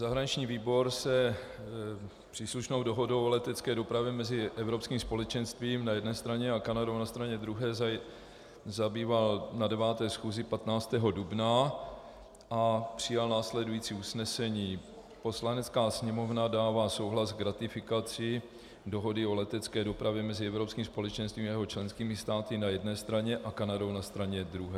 Zahraniční výbor se příslušnou dohodou o letecké dopravě mezi Evropským společenstvím na jedné straně a Kanadou na straně druhé zabýval na 9. schůzi 15. dubna a přijal následující usnesení: "Poslanecká sněmovna dává souhlas k ratifikaci Dohody o letecké dopravě mezi Evropským společenstvím a jeho členskými státy na jedné straně a Kanadou na straně druhé."